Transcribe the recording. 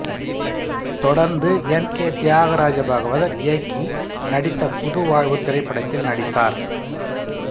தொடர்ந்து M K Thyagaraja Bhagavathar இயக்கி நடித்த புது வாழ்வு திரைப்படத்தில் நடித்தார்